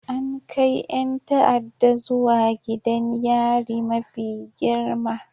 An kai 'yan ta'adda zuwa gidan yari mafi girma